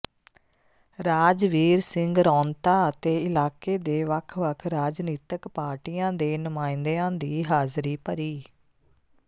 ਰਾਜਵੀਰ ਸਿੰਘ ਰੌਂਤਾ ਅਤੇ ਇਲਾਕੇ ਦੇ ਵੱਖ ਵੱਖ ਰਾਜਨੀਤਕ ਪਾਰਟੀਆਂ ਦੇ ਨੁਮਾਇੰਦਿਆਂ ਦੀ ਹਾਜ਼ਰੀ ਭਰੀ